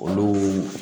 Olu